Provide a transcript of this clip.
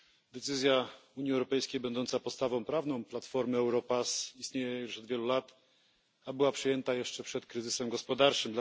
Decyzja Unii Europejskiej będąca podstawą prawną platformy Europass obowiązuje już od wielu lat, a była przyjęta jeszcze przed kryzysem gospodarczym.